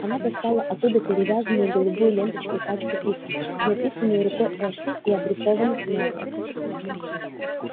она достала оттуда перевязанную голубую ленточки пачку писем написанные рукой эшли и адресованных мелани